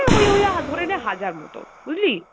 ওই ওই অ্যাঁ ধরে নে হাজার মতো, বুঝলি?